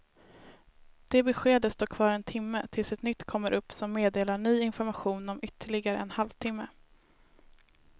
Det beskedet står kvar en timme tills ett nytt kommer upp som meddelar ny information om ytterligare en halv timme.